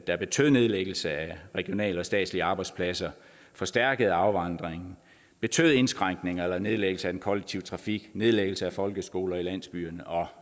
der betød nedlæggelse af regionale og statslige arbejdspladser forstærket afvandring betød indskrænkninger eller nedlæggelse af den kollektive trafik nedlæggelse af folkeskoler i landsbyerne og